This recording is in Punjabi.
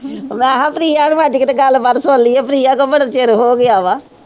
ਮੈਂ ਕਿਹਾ ਪ੍ਰਿਆ ਨੂੰ ਅੱਜ ਕਿਤੇ ਗੱਲਬਾਤ ਸੁਣ ਲਈਏ, ਪ੍ਰਿਆ ਕੋਲ ਬੜਾ ਚਿਰ ਹੋ ਗਿਆ ਵਾ।